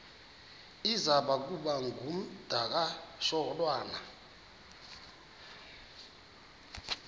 iza kuba ngumdakasholwana